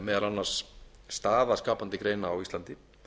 meðal annars staða skapandi greina á íslandi